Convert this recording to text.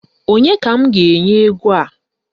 Onye ka m ga-enye ego a?